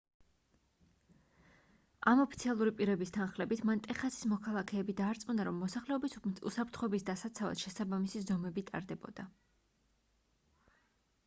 ამ ოფიციალური პირების თანხლებით მან ტეხასის მოქალაქეები დაარწმუნა რომ მოსახლეობის უსაფრთხოების დასაცავად შესაბამისი ზომები ტარდებოდა